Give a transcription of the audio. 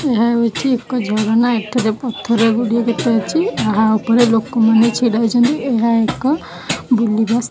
ଏହା ହେଉଛି ଏକ ଝରଣା ଏଠାରେ ପଥର ଗୁଡ଼ିଏ ଦେଖାଯାଉଛି ଏହା ଉପରେ ଲୋକମାନେ ଛିଡ଼ା ହୋଇଛନ୍ତି ଏହା ଏକ ବୁଲିବା ସ୍ଥା --